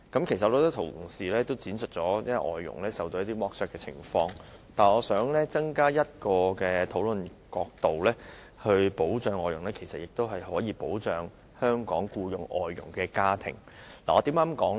很多同事闡述了外傭受剝削的情況，我想增加一個討論角度，就是保障外傭的同時，其實亦可保障聘用外傭的香港家庭。